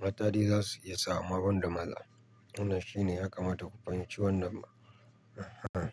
Mata dai za su iya sa, amma banda maza. Wannan shine ya kamata ku fahimci wannan. Eeh.